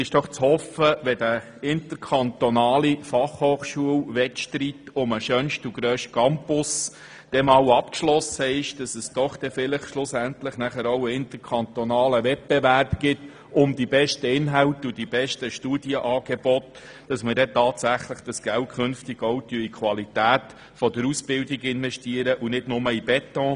Wenn der interkantonale Fachhochschulwettstreit um den schönsten und grössten Campus einmal abgeschlossen sein wird und ein interkantonaler Wettbewerb bezüglich der besten Inhalte und Studienangebote beginnt, wird hoffentlich tatsächlich das Geld auch in die Qualität der Ausbildung investiert und nicht nur in den Beton.